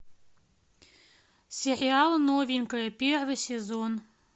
сериал новенькая первый сезон